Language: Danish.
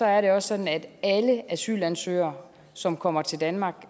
er det også sådan at alle asylansøgere som kommer til danmark